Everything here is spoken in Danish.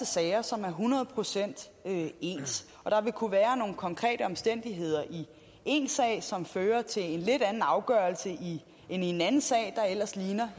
sager som er hundrede procent ens og der vil kunne være nogle konkrete omstændigheder i én sag som fører til en lidt anden afgørelse end i en anden sag der ellers ligner